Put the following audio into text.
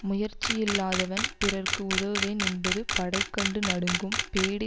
முயற்சி இல்லாதவன் பிறர்க்கு உதவுவேன் என்பது படை கண்டு நடுங்கும் பேடி